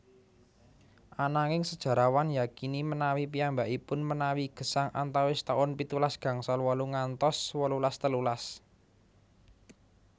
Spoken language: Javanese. Ananging sejarawan yakini menawi piyambakipun menawi gesang antawis taun pitulas gangsal wolu ngantos wolulas telulas